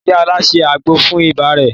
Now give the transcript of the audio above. Ìyá Ọlá se àgbo fún ibà rẹ̀.